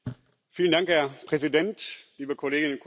Herr Präsident, liebe Kolleginnen und Kollegen!